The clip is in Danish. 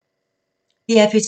DR P2